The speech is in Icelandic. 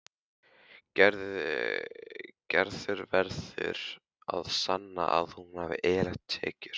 Gerður verður að sanna að hún hafi eðlilegar tekjur.